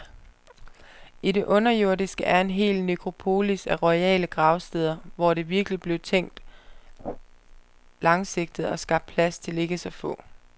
I det underjordiske er en hel nekropolis af royale gravsteder, hvor der virkeligt blev tænkt langsigtet og skabt plads til ikke så få.